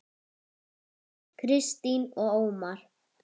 Kristín og Ómar.